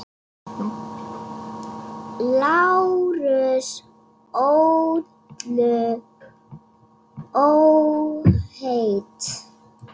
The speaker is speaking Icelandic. LÁRUS: Öllu óhætt!